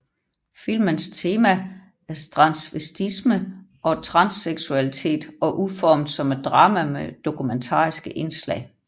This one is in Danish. Filmens tema er transvestisme og transseksualitet og udformet som et drama med dokumentariske indslag